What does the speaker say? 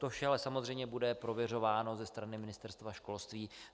To vše ale samozřejmě bude prověřováno ze strany Ministerstva školství.